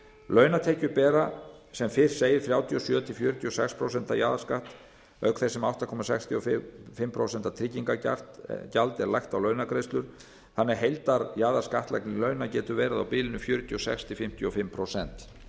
launatekjur bera sem fyrr segir þrjátíu og sjö til fjörutíu og sex prósent jaðarskatt auk þess sem átta komma sextíu og fimm prósent tryggingagjald er lagt á launagreiðslur þannig að heildarjaðarskattlagning launa getur verið á bilinu fjörutíu og sex til fimmtíu og fimm prósent